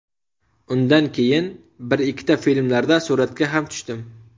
Undan keyin bir-ikkita filmlarda suratga ham tushdim.